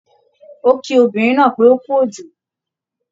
Ó kí obìnrin náà pé ókú òjò